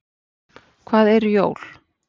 Hvað eru jól?